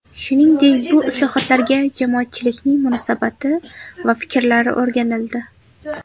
Shuningdek, bu islohotlarga jamoatchilikning munosabati va fikrlari o‘rganildi.